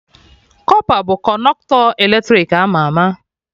Kọpa bụ Kọnọktọ eletrik ama ama